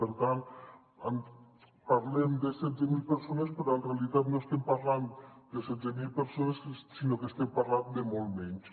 per tant parlem de setze mil persones però en realitat no es·tem parlant de setze mil persones sinó que estem parlant de moltes menys